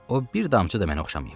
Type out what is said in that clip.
O bir damcı da mənə oxşamayıb.